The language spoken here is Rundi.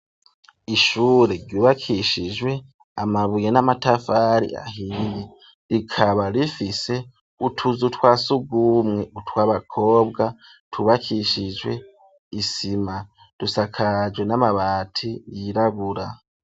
Ishure ryubakishijwe amabuye n'amatafari ahiye rikaba rifise utuzu twasugumwe utwa bakobwa twubakishijwe isima dusakaje n'amabati yirabura.